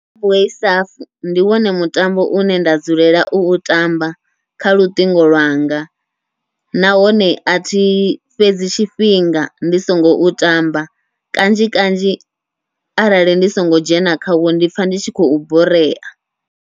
Subway surf ndi wone mutambo une nda dzulela u u tamba kha luṱingo lwanga, nahone athi fhedzi tshifhinga ndi songo u tamba kanzhi kanzhi arali ndi songo dzhena khawo ndi pfha ndi tshi khou borea.